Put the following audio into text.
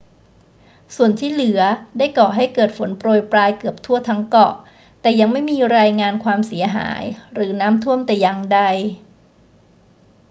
ส่วนที่เหลือได้ก่อให้เกิดฝนโปรยปรายเกือบทั่วทั้งเกาะ แต่ยังไม่มีรายงานความเสียหายหรือน้ำท่วมแต่อย่างใด